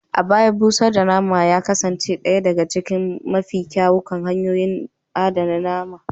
A baya, busar da nama a rana ya kasance ɗaya daga cikin mafi kyawun hanyoyin adana nama